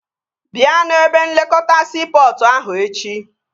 Bịa n'ebe nlekọta siipọtụ ahụ echi